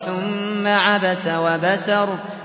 ثُمَّ عَبَسَ وَبَسَرَ